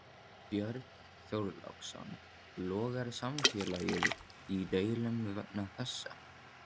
Björn Þorláksson: Logar samfélagið í deilum vegna þessa?